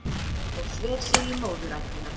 Og sver sig í móðurættina